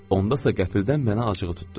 Onda isə qəfildən mənə acığı tutdu.